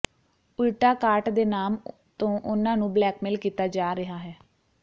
ਉਲਟਾ ਕਾਟ ਦੇ ਨਾਮ ਤੋਂ ਉਨ੍ਹਾਂ ਨੂੰ ਬਲੈਕਮੇਲ ਕੀਤਾ ਜਾ ਰਿਹਾ ਹੈ